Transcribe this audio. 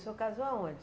O senhor casou aonde?